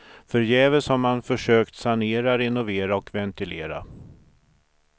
Förgäves har man försökt sanera, renovera och ventilera.